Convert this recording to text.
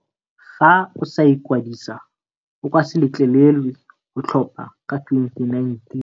Fa o sa ikwadisa, o ka se letlelelwe go tlhopha ka 2019.